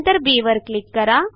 नंतर बी वर क्लिक करा